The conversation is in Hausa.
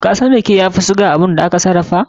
Kasan rake ya fi sugar da aka sarrafa?